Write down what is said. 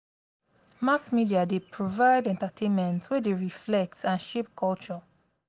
mass media dey provide entertainment wey dey reflect and shape culture.